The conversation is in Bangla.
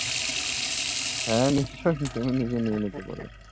হ্যাঁ, নিশ্চয়ই। তুমি নিজে নিয়ে নিতে পারো।